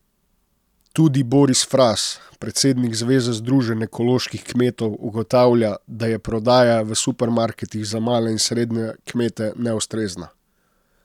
Tudi Boris Fras, predsednik Zveze združenj ekoloških kmetov, ugotavlja, da je prodaja v supermarketih za male in srednje kmete neustrezna.